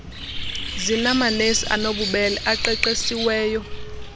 zinamanesi anobubele aqeqesiweyo